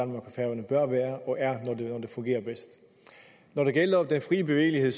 fungerer bedst når det gælder den fri bevægelighed